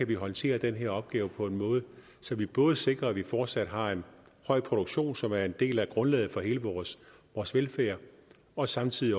kan håndtere den her opgave på en måde så vi både sikrer at vi fortsat har en høj produktion som er en del af grundlaget for hele vores vores velfærd og samtidig